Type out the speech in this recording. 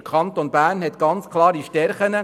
Der Kanton Bern verfügt über klare Stärken;